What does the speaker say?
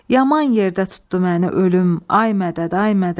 Yaman yerdə tutdu məni ölüm, ay mədəd, ay mədəd.